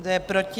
Kdo je proti?